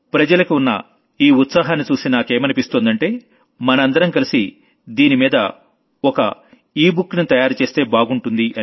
జనానికి ఉన్న ఈ ఉత్సాహాన్ని చూసి నాకేమనిపిస్తోందంటే మనందరం కలిసి దీనిమీద ఓ ఈ బుక్ ని తయారు చేస్తే బాగుంటుంది